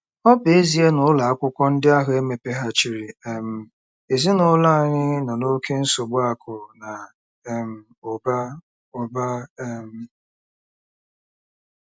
Ọ bụ ezie na ụlọ akwụkwọ ndị ahụ emepeghachiri um, ezinụlọ anyị nọ n'oké nsogbu akụ̀ na um ụba ụba um.